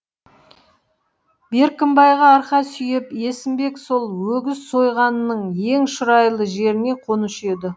беркімбайға арқа сүйеп есімбек сол өгіз сойғанның ең шұрайлы жеріне қонушы еді